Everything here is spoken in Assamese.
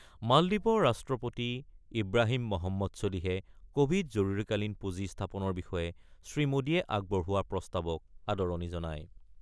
মালদ্বীপৰ ৰাষ্ট্ৰপতি ইব্ৰাহিম মহম্মদ চলিহে কোভিড জৰুৰীকালীন পুঁজি স্থাপনৰ বিষয়ে শ্ৰীমোদীয়ে আগবঢ়োৱা প্ৰস্তাৱক আদৰণি জনায়।